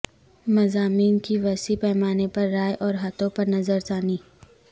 مضامین کی وسیع پیمانے پر رائے اور ہاتھوں پر نظر ثانی